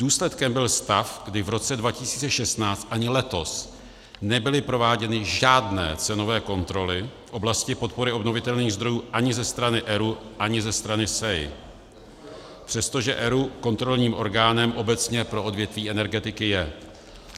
Důsledkem byl stav, kdy v roce 2016 ani letos nebyly prováděny žádné cenové kontroly v oblasti podpory obnovitelných zdrojů ani ze strany ERÚ, ani ze strany SEI, přestože ERÚ kontrolním orgánem obecně pro odvětví energetiky je.